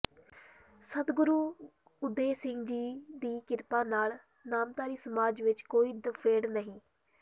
ਸਤਿਗੁਰੂ ਉਦੇ ਸਿੰਘ ਜੀ ਦੀ ਕਿਰਪਾ ਨਾਲ ਨਾਮਧਾਰੀ ਸਮਾਜ਼ ਵਿਚ ਕੋਈ ਦੁਫੇੜ ਨਹੀਂ